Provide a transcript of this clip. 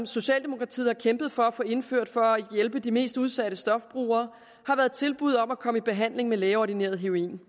socialdemokratiet har kæmpet for at få indført for at hjælpe de mest udsatte stofbrugere er tilbud om at komme i behandling med lægeordineret heroin